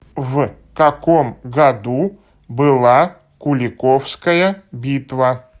в каком году была куликовская битва